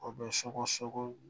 O bɛ sogo sogo